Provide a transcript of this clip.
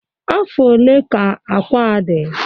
Afọ ole ka akwa a dị?